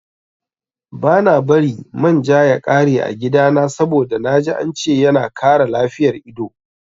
Bana bari man ja ya ƙare a gidana saboda naji ance yana kara lafiyar ido